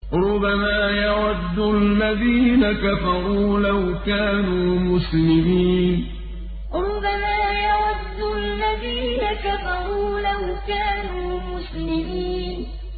رُّبَمَا يَوَدُّ الَّذِينَ كَفَرُوا لَوْ كَانُوا مُسْلِمِينَ رُّبَمَا يَوَدُّ الَّذِينَ كَفَرُوا لَوْ كَانُوا مُسْلِمِينَ